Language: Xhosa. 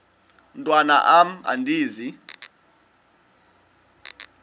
mntwan am andizi